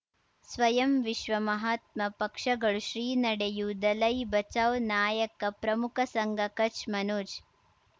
ಸ್ವಯಂ ವಿಶ್ವ ಮಹಾತ್ಮ ಪಕ್ಷಗಳು ಶ್ರೀ ನಡೆಯೂ ದಲೈ ಬಚೌ ನಾಯಕ ಪ್ರಮುಖ ಸಂಘ ಕಚ್ ಮನೋಜ್